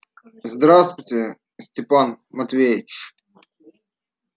здравствуйте степан матвеич